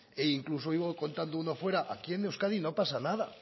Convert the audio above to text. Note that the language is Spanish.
e incluso iba contando uno fuera aquí en euskadi no pasa nada